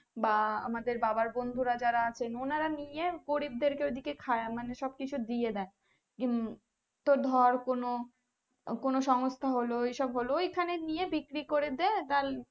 বা আমাদের বাবার বন্ধুরা যারা আছে ওনারা মিলিয়ে গরিবদের ওদিকে খাই মানে সব কিছু দিয়ে দেয় তো ধর কোনো কোনো সংস্থা হলো এই সব হলো এই খানে নিয়ে বিক্রি করে দেয়